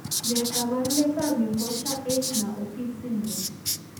Ne kaabarunetap Neuhauser Eichner Opitz syndrome?